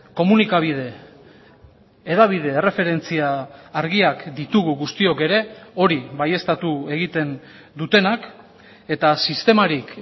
komunikabide hedabide erreferentzia argiak ditugu guztiok ere hori baieztatu egiten dutenak eta sistemarik